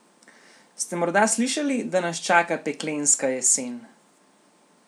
Ste morda slišali, da nas čaka peklenska jesen?